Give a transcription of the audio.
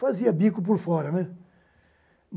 Fazia bico por fora, né?